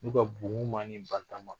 N'u ka bon ni barikama